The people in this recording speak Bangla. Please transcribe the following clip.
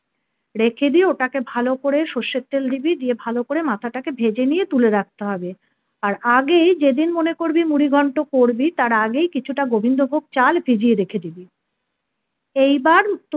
রেখে দিয়ে ওটাকে ভালো করে সরষের তেল দিবি দিয়ে ভালো করে মাথাটাকে ভেজে নিয়ে তুলে রাখতে হবে। আর আগেই যেদিন মনে করবি মুড়িঘন্ট করবি তার আগেই কিছুটা গোবিন্দভোগ চাল ভিজিয়ে রেখে দিবি এইবার